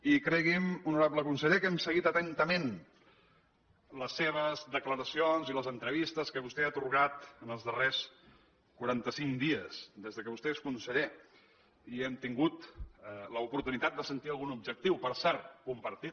i cregui’m honorable conseller que hem seguit atentament les seves declaracions i les entrevistes que vostè ha atorgat en els darrers quaranta cinc dies des que vostè és conseller i hem tingut l’oportunitat de sentir algun objectiu per cert compartit